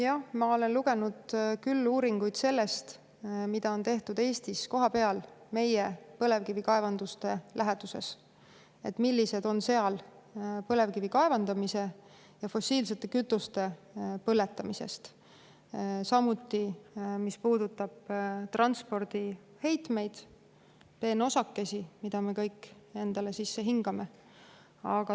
Jah, ma olen lugenud küll uuringuid selle kohta, mida on tehtud Eestis kohapeal meie põlevkivikaevanduste läheduses: millised on seal põlevkivi kaevandamisest ja fossiilsete kütuste põletamisest, samuti, mis puudutab transpordiheitmeid ja peenosakesi, mida me kõik endale sisse hingame.